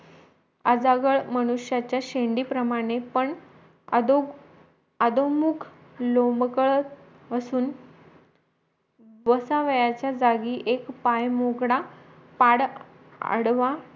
आजगळ मनुष्याच्या शेंडी प्रमाणे पण अदोग् आडोमुख लोम्बकळत असून बसवायच्या जागी एक पाय मोकळा पाय अडवा